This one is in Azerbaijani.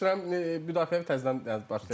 Nə üzr istəyirəm, müdafiəni təzədən başlayıram.